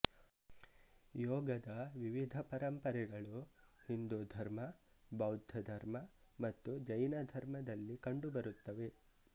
ಯೋಗದ ವಿವಿಧ ಪರಂಪರೆಗಳು ಹಿಂದೂ ಧರ್ಮ ಬೌದ್ಧ ಧರ್ಮ ಮತ್ತು ಜೈನ ಧರ್ಮದಲ್ಲಿ ಕಂಡುಬರುತ್ತವೆ